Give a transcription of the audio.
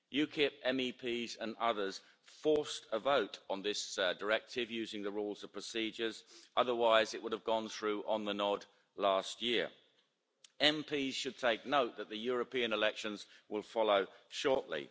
UKIP MEPs and others forced a vote on this directive using the Rules of Procedure, otherwise it would have gone through on the nod last year. Members should take note that the European elections will follow shortly.